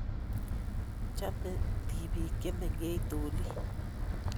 Chame tibiik chemengech doli--